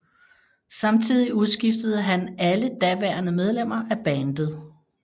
Samtidig udskiftede han alle daværende medlemmer af bandet